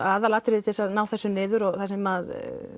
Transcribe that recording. aðalatriðið til þess að ná þessu niður og það sem